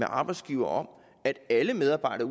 arbejdsgiver om at alle medarbejdere